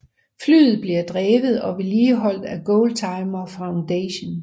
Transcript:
Flyet bliver drevet og vedligeholdt af Goldtimer Foundation